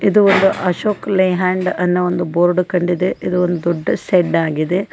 ಇದು ಒಂದು ಅಶೋಕ್ ಲೈಲ್ಯಾಂಡ್ ಅನ್ನೋ ಒಂದು ಬೋರ್ಡ್ ಕಂಡಿದೆ ಇದು ಒಂದು ದೊಡ್ಡ ಶೆಡ್ ಆಗಿದೆ.